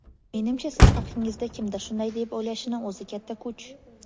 Menimcha siz haqingizda kimdir shunday deb o‘ylashini o‘zi katta kuch.